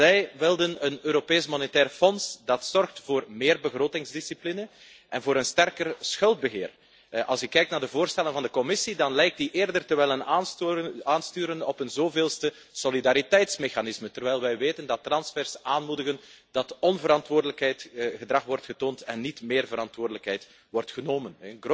Zij wilden een Europees Monetair Fonds dat zorgt voor meer begrotingsdiscipline en voor een sterker schuldbeheer. Als ik kijk naar de voorstellen van de Commissie, dan lijkt zij eerder te willen aansturen op een zoveelste solidariteitsmechanisme, terwijl wij weten dat transfers onverantwoordelijk gedrag in de hand werken in plaats van dat meer verantwoordelijkheid wordt genomen.